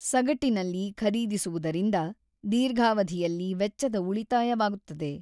ಸಗಟಿನಲ್ಲಿ ಖರೀದಿಸುವುದರಿಂದ ದೀರ್ಘಾವಧಿಯಲ್ಲಿ ವೆಚ್ಚದ ಉಳಿತಾಯವಾಗುತ್ತದೆ.